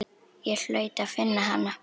Ég hlaut að finna hana.